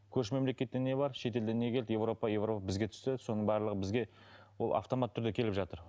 көрші мемлекетте не бар шетелден не келді европа европа бізге түсті соның барлығы бізге ол автоматты түрде келіп жатыр